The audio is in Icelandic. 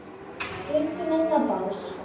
Við göngum inn á bás